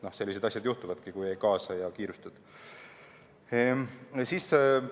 Sellised asjad juhtuvadki, kui ei kaasa ja kiirustad.